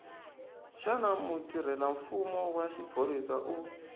xana mutirhelamfumo wa xiphorisa u